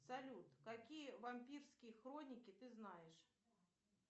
салют какие вампирские хроники ты знаешь